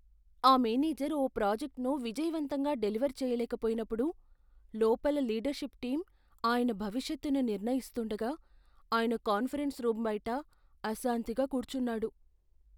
ఆ మేనేజర్ ఓ ప్రాజెక్ట్ను విజయవంతంగా డెలివర్ చేయలేక పోయినప్పుడు, లోపల లీడర్షిప్ టీం ఆయన భవిష్యత్తును నిర్ణయిస్తుండగా ఆయన కాన్ఫరెన్స్ రూమ్ బయట అశాంతిగా కూర్చున్నాడు.